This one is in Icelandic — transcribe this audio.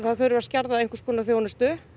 að þurfi að skerða einhvers konar þjónustu